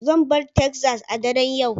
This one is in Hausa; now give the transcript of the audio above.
Zan bar Texas a daren yau